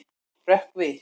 Rökkvi